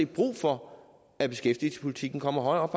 brug for at beskæftigelsespolitikken kommer højere op